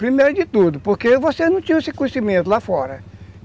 Primeiro de tudo, porque vocês não tinham esse conhecimento lá fora.